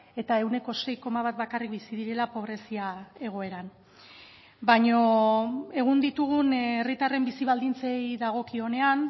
eta ehuneko sei koma bat bakarrik bizi direla pobrezia egoeran baina egun ditugun herritarren bizi baldintzei dagokionean